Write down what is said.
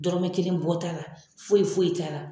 Dɔrɔmɛ kelen bɔ t'a la foyi foyi t'a la.